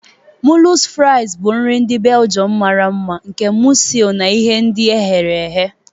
Moules fries bụ nri ndị Belgium mara mma nke mọsel na ihe ndi ehere ehe.